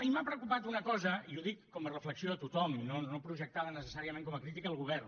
i m’ha preocupat una cosa i ho dic com a reflexió a tothom i no projectada necessàriament com a crítica al govern